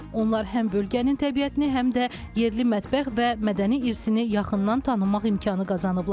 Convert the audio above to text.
Onlar həm bölgənin təbiətini, həm də yerli mətbəx və mədəni irsini yaxından tanımaq imkanı qazanıblar.